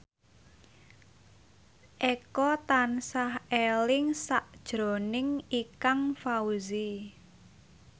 Eko tansah eling sakjroning Ikang Fawzi